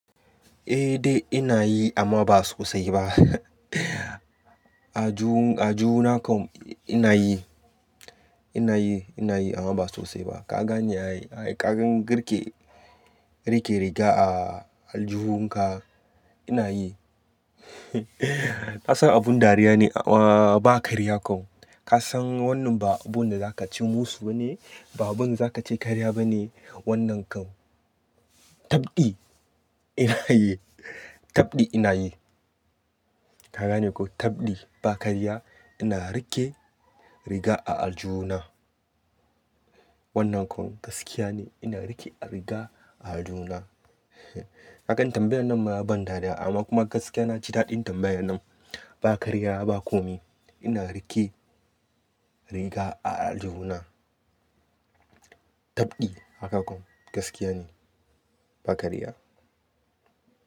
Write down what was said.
Eh dai ina yi amma ba sosai ba. Aljuhun, aljuhu nakan ina yi, ina yi, ina yi amma ba sosai ba. Kaga ne ai, kagan garke, rike riga a aljuhun ka ina yi. Ka san abun dariya ne amma ba karya kan. Ka san wannan ba abun da za ka ci musu ba ne, ba abun da za ka ce karya ba ne wannan kan. Tabdi ina yi, tabdi ina yi. Kaga ne ko, kabdi ba karya ina rike riga a aljuhuna. Wannan kan gaskiya ne ina rike riga a aljuhuna. Kagan tambayar nan ma ban dariya amma kuma gaskiya na ji daɗin tambayar nan. Ba karya ba kome ina rike riga a aljihuna. Tabdi haka kan gaskiya ne ba karya.